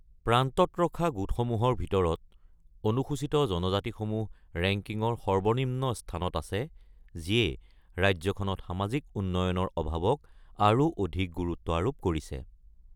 প্ৰান্তত ৰখা গোটসমূহৰ ভিতৰত অনুসূচিত জনজাতিসমূহ ৰেংকিঙৰ সৰ্বনিম্ন স্থানত আছে, যিয়ে ৰাজ্যখনত সামাজিক উন্নয়নৰ অভাৱক আৰু অধিক গুৰুত্ব আৰোপ কৰিছে।